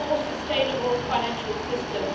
and a more sustainable financial system.